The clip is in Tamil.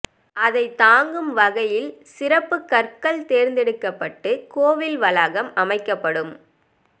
அதை தாங்கும் வகையில் சிறப்பு கற்கள் தேர்ந்தெடுக்கப்பட்டு கோயில் வளாகம் அமைக்கப்படும்